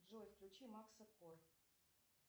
джой включи макса кор